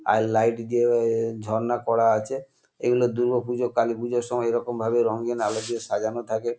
আর light দিয়ে এ ঝর্ণা করা আছে। এইগুলো দুর্গাপুজো কালীপুজোর সময় এরকমভাবে রঙিন আলো দিয়ে সাজানো থাকে।